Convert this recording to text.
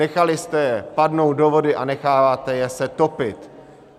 Nechali jste je padnout do vody a necháváte je se topit.